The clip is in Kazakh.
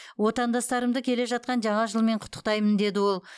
отандастарымды келе жатқан жаңа жылмен құттықтаймын деді ол